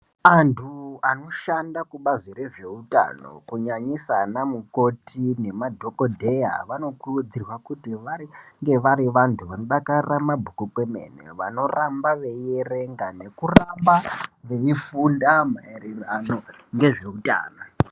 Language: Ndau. Anthu anoshanda kubazi rezveutano kunyanyisa ana mukoti nemadhokodheya, vanokurudzirwa kuti vari vange vari vanthu vanodakarira mabhuku kwemene, vanoramba veierenga, nekuramba veifunda maererano ngezveutano.